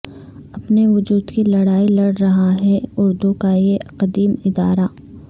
اپنے وجود کی لڑائی لڑ رہا ہے اردو کا یہ قدیم ادارہ